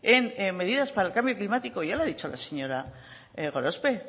en medidas para el cambio climático ya lo ha dicho la señora gorospe